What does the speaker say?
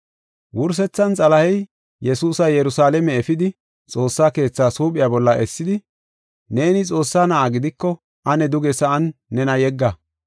Wursethan Xalahey Yesuusa Yerusalaame efidi Xoossa Keethas huuphiya bolla essidi, “Neeni Xoossaa na7a gidiko ane duge sa7an nena yegga.